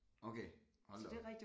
Okay hold da op